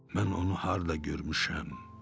Mən onu harda görmüşəm?